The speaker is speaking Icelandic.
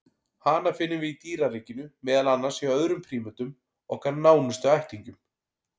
Hana finnum við í dýraríkinu, meðal annars hjá öðrum prímötum, okkar nánustu ættingjum.